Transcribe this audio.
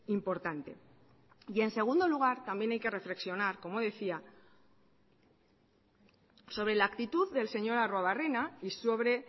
importante y en segundo lugar también hay que reflexionar como decía sobre la actitud del señor arruebarrena y sobre